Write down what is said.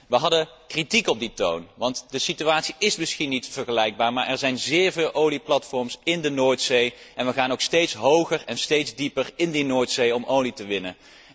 We hadden kritiek op die toon, want de situatie is misschien niet vergelijkbaar, maar er zijn zeer veel olieplatforms in de Noordzee en we gaan ook steeds hoger en steeds dieper in die Noordzee om olie te winnen.